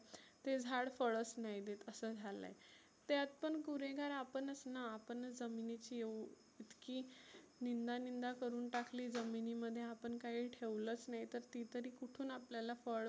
ते झाड फळच नाही देत असं झालं. त्यात पण गुन्हेगार आपणच ना आपणच जमिनीची इतकी नींदा नींदा करुन टाकली जमिनीमध्ये आपण काही ठेवलच नाही. तर ती तरी आपल्याला कुठुन फळ